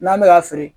N'an bɛ ka feere